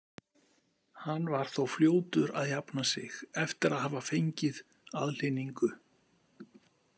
Hann var þó fljótur að jafna sig eftir að hafa fengið aðhlynningu.